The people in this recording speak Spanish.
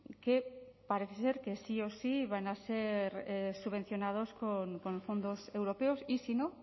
que parece ser que sí o sí van a ser subvencionados con fondos europeos y si no